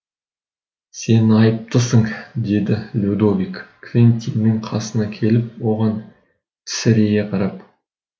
сен айыптысың деді людовик квентиннің қасына келіп оған тесірейе қарап